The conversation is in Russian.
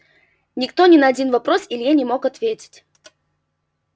никто ни на один вопрос илье не мог ответить